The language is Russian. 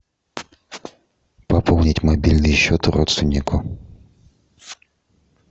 пополнить мобильный счет родственнику